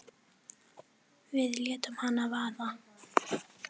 Við létum hana vaða.